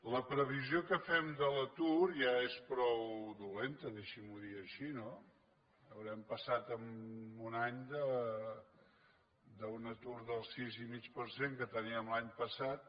la previsió que fem de l’atur ja és prou dolenta deixim’ho dir així no haurem passat en un any d’un atur del sis i mig per cent que teníem l’any passat